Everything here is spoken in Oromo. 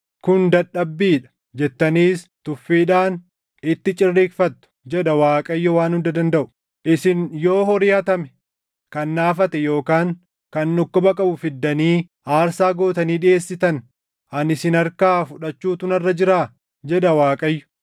‘Kun dadhabbii dha!’ jettaniis tuffiidhaan itti cirriiqfattu” jedha Waaqayyo Waan Hunda Dandaʼu. “Isin yoo horii hatame, kan naafate yookaan kan dhukkuba qabu fiddanii aarsaa gootanii dhiʼeessitan, ani isin harkaa fudhachuutu narra jiraa?” jedha Waaqayyo.